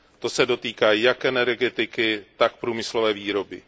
To se dotýká jak energetiky, tak průmyslové výroby.